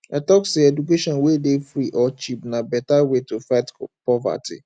i tok sey education wey dey free or cheap na beta way to fight poverty